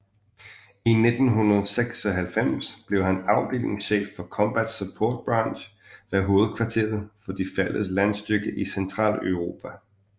I 1996 blev han afdelingschef for Combat Support Branch ved hovedkvarteret for de fælles landstyrker i Centraleuropa